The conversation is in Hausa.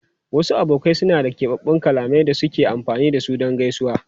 Wasu abokai suna da keɓaɓɓun kalmomin da suke amfani da su don gaisuwa.